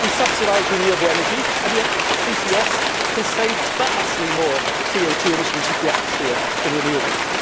We subsidise renewable energy and yet CCS can save vastly more CO 2 emissions in the atmosphere than renewables.